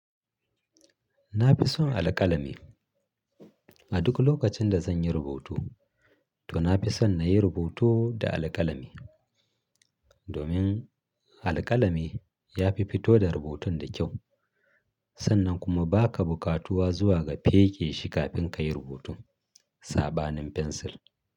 Na fi son alƙalami. A duk lokacin da zan yi rubutu, to na fi son na yi rubutu da alƙalami. Domin alƙalami ya fi fito da rubutun da kyau, sannan kuma ba ka buƙatuwa zuwa ga feƙe shi kafin ka yi rubutun saɓanin fensil.